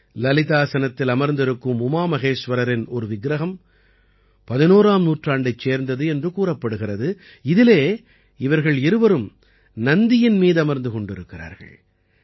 லலிதாசனத்தில் அமர்ந்திருக்கும் உமா மகேஸ்வரரின் ஒரு விக்கிரகம் 11ஆம் நூற்றாண்டைச் சேர்ந்தது என்று கூறப்படுகிறது இதிலே இவர்கள் இருவரும் நந்தியின் மீதமர்ந்து கொண்டிருக்கிறார்கள்